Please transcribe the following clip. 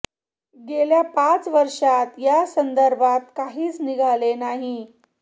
गेल्या पाच वर्षात या संदर्भात काहीच निघाले नाही